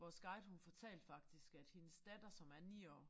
Vores guide hun fortalte faktisk at hendes datter som er 9 år